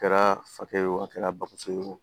A kɛra fakɛ ye o a kɛra bamɔgɔ ye o